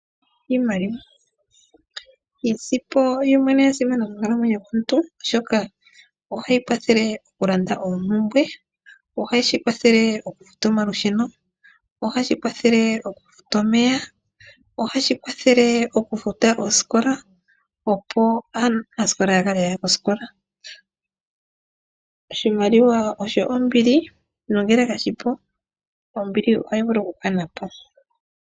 Iimaliwa, iisimpo yoyene oya simana mokunkalamwenyo komuntu oshoka ohayi kwathele oku landa oompumbwe ohashi kwathele oku futa omeya, ohashi kwathele oku futa osikola opo aanasikola ya kale yaya kosikola, oshimaliwa osho ombili nongele kashipu ohayi vulu oku kanapo.